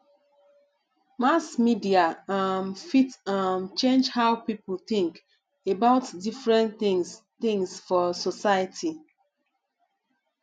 mass media um fit um change how people think about different things things for society